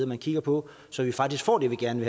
man kigger på så vi faktisk får det vi gerne